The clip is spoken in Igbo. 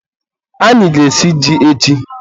anyị ga-esi ji echi